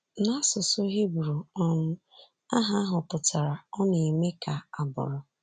N’asụsụ Hibru um aha ahụ pụtara “Ọ Na-eme Ka A Bụrụ.”